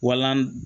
Walan